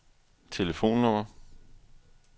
telefonnummer